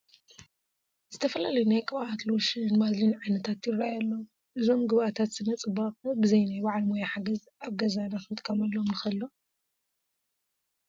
ዝተፈላለዩ ናይ ቅብኣት፣ ሎሽን፣ ባዝሊን ዓይነታት ይርአዩ ኣለዉ፡፡ እዞም ግብኣታት ስነ ፅባቐ ብዘይ ናይ በዓል ሞያ ሓገዝ ኣብ ገዛና ክንጥቀመሎም ንኽእል ዶ?